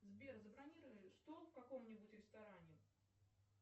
сбер забронируй стол в каком нибудь ресторане